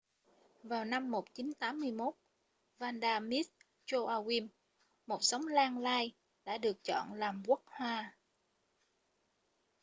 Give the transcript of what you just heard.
vào năm 1981 vanda miss joaquim một giống lan lai đã được chọn làm quốc hoa